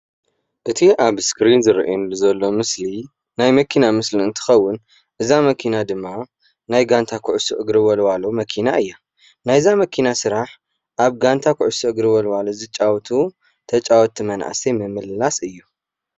እቲ ኣብ እስክሪን ዝረአየኒ ዘሎ ምስሊ ናይ መኪና ምስሊ እንትከውን እዛ መኪና ድማ ናይ ጋንታ ኩዕሶ እግሪ ወልዋሎ መኪና እያ፡፡ ናይዛ መኪና ስራሕ ኣብ ጋንታ ኩዕሶ እግሪ ወልዋሎ ዝጫወቱ ተጫወትቲ መናእሰይ ንምምልላስ እዩ፡፡